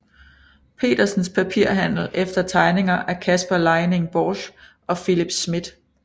Petersens Papirhandel efter tegninger af Caspar Leuning Borch og Philip Smidth